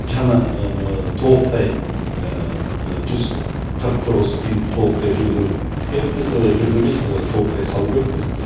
жаңа толықтай жүз қырық тоғыз үй толықтай жөндеу керекпіз жөндеу емес толықтай салу керекпіз